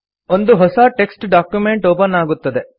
ಒಂದು ಹೊಸ text document open ಆಗುತ್ತದೆ